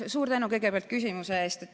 Suur tänu küsimuse eest!